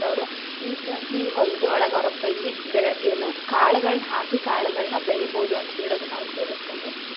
ಅವ್ರ ಈಗ್ ಈ ಹೊಲದೊಳ್ಗ ಅವ್ರ ಅಪ್ಪಾಜಿ ಬೆ ಏನ್‌ ಕಾಳಗಳನ್‌ ಹಾಕಿ ಕಾಳಗಳನ್ ಬೆಳಿಬೋದು ಅಂತ ಹೇಳೋದನ್‌ ಅವ್ರ ಕೇಳಸ್ಗೊಂಡು